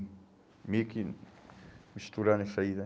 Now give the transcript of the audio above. Meio que misturando isso aí, né?